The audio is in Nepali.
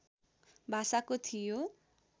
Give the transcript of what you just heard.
भाषाको थियो